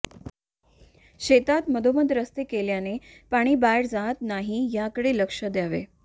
शेतात मधोमध रस्ते केल्याने पाणी बाहेर जात नाही याकडे लक्ष द्यावे